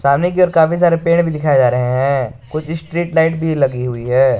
सामने की ओर काफी सारे पेड़ भी दिखाये जा रहे हैं कुछ स्ट्रीट लाइट भी लगी हुई है।